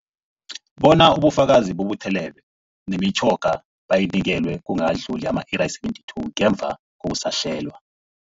Bona ubufakazi bubuthelelwe, nemitjhoga bayinikelwe kungakadluli ama-iri ama-72 ngemva kokusahlelwa.